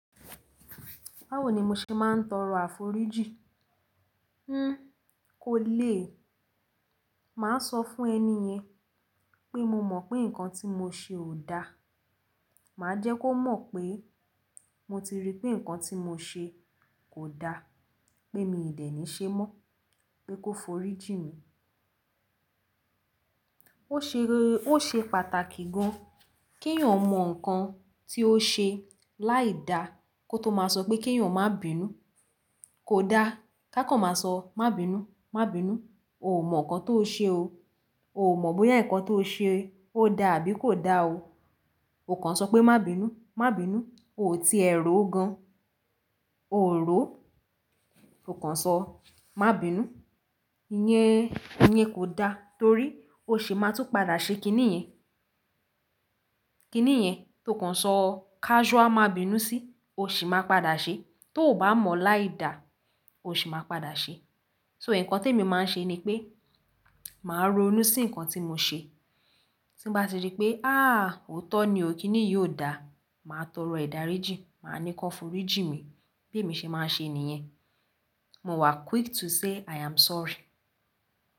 Báwo ni mo ṣe máa ń tọrọ àforíjì? Hmm kò lè. Mà á sọ fún ẹni yẹn pé mo mọ̀ pé nǹkan tí mo ṣe ò da. Mà á jẹ́ kó mọ̀ pé mo ti rí pé nǹkan tí mo ṣe kò da, pé mi ò dẹ̀ ní ṣe mọ́, pé kó forí jìn mi. Ó ṣe, ó ṣe pàtàkì gan kí èèyàn mọ nǹkan tí ó ṣe láì dá kó tó máa sọ pé kí èèyàn má bínú. Kò da, ká kan má sọ má bínú, má bínú, o ò mọ̀ nǹkan tó ṣe o. O ò mọ̀ bóyá nǹkan tó ṣe ó da àbí kò da o. O kàn n sọ pé má bínú, má bínú, o ò tiẹ̀ rò ó gan. O ò ró. O kàn sọ má bínú, ìyẹn, ìyẹn kò da torí o sì máa tun padà ṣe kiní yẹn. Kiní yẹn tó kàn sọ casual má bínú sí, o sì máa padà ṣe. Tó ò bá mọ̀ láì dá, o sì máa padà ṣe. So nǹkan tí èmi máa ń ṣe ni pé mà á ronú sí nǹkan tí mo ṣe. Tí n bá ti rí pé ah òótọ́ ni o, kiní yìí ò da, mà á tọrọ idàríjì, mà á ní kan forí jìn mi. Bí èmi ṣe máa ń ṣe nìyẹn. Mo wà quick to say I am sorry.